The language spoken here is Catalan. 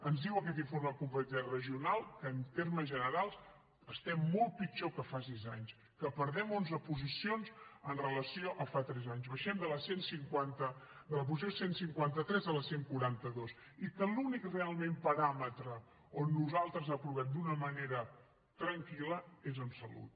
ens diu aquest informe de competitivitat regional que en termes generals estem molt pitjor que fa sis anys que perdem onze posicions amb relació a fa tres anys baixem de la posició cent i cinquanta tres a la cent i quaranta dos i que l’únic realment paràmetre on nosaltres aprovem d’una manera tranquil·la és en salut